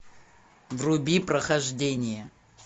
вруби прохождение